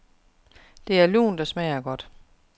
Det er lunt og smager godt.